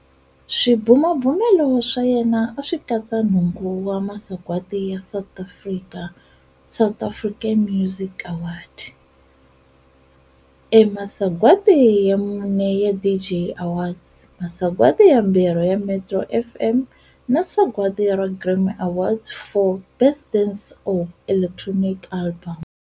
Swibumabumelo swa yena swi katsa nhungu wa masagwadi ya South African Music Awards, Masagwadi ya mune ya DJ Awards, masagwadi yambirhi ya Metro FM na sagwadi ra Grammy Award for Best Dance or Electronic Album.